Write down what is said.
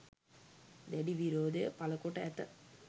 දැඩි විරෝධය පළ කොට ඇත